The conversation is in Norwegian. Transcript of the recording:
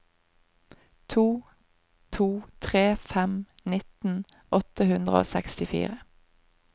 to to tre fem nitten åtte hundre og sekstifire